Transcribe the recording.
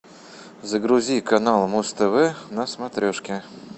загрузи канал муз тв на смотрешке